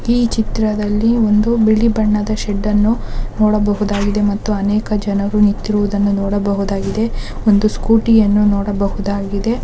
ಈ ಚಿತ್ರದಲ್ಲಿ ಒಂದು ಬಿಳಿ ಬಣ್ಣದ ಶೆಡ್ಡನ್ನು ನೋಡಬಹುದಾಗಿದೆ ಮತ್ತು ಅನೇಕ ಜನರು ನಿಂತಿರುವುದನ್ನು ನೋಡಬಹುದಾಗಿದೆ ಒಂದು ಸ್ಕೂಟಿಯನ್ನು ನೋಡಬಹುದಾಗಿದೆ..